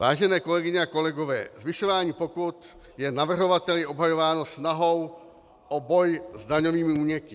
Vážené kolegyně a kolegové, zvyšování pokut je navrhovateli obhajováno snahou o boj s daňovými úniky.